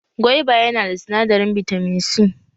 Gwaiba ya na da sinadarin bitamin C